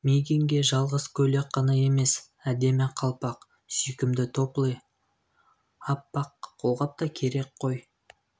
мигэнге жалғыз көйлек қана емес әдемі қалпақ сүйкімді топли аппақ колғап та керек қой